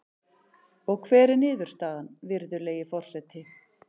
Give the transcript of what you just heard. Og hver er niðurstaðan, virðulegi forseti?